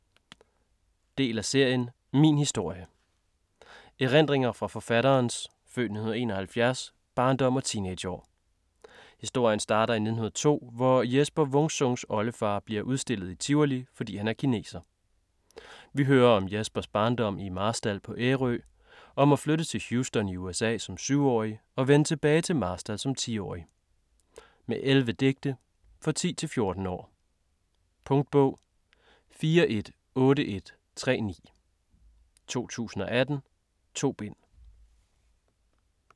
Wung-Sung, Jesper: Lynkineser Del af serien Min historie. Erindringer fra forfatterens (f.1971) barndom og teenageår. Historien starter i 1902, hvor Jesper Wung Sungs oldefar blev udstillet i Tivoli, fordi han var kineser. Vi hører om Jespers barndom i Marstal på Ærø, om at flytte til Houston i USA som 7-årig og vende tilbage til Marstal som 10-årig. Med 11 digte. For 10-14 år. Punktbog 418139 2018. 2 bind.